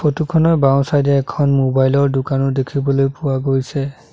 Photo খনৰ বাওঁ side এ এখন মোবাইল ৰ দোকানো দেখিবলৈ পোৱা গৈছে।